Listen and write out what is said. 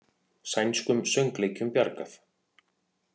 Sænskum söngleikjum bjargað